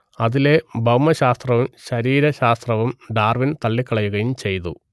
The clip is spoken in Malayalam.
അതിലെ ഭൗമശാസ്ത്രവും ശരീരശാസ്ത്രവും ഡാർവിൻ തള്ളിക്കളയുകയും ചെയ്തു